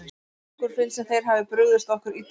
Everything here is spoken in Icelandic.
Okkur finnst sem þeir hafi brugðist okkur illa.